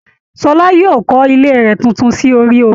Ṣọlá yóò kọ́ ilé rẹ̀ tuntun sí orí omi